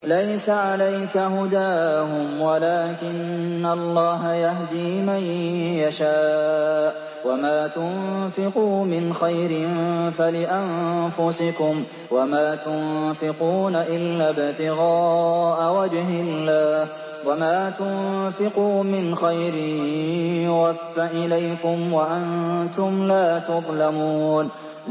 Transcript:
۞ لَّيْسَ عَلَيْكَ هُدَاهُمْ وَلَٰكِنَّ اللَّهَ يَهْدِي مَن يَشَاءُ ۗ وَمَا تُنفِقُوا مِنْ خَيْرٍ فَلِأَنفُسِكُمْ ۚ وَمَا تُنفِقُونَ إِلَّا ابْتِغَاءَ وَجْهِ اللَّهِ ۚ وَمَا تُنفِقُوا مِنْ خَيْرٍ يُوَفَّ إِلَيْكُمْ وَأَنتُمْ لَا تُظْلَمُونَ